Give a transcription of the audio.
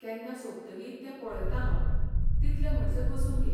केन्ना सोंपतली तें पळयतां हांव, तितले म्हणसर बसून घे.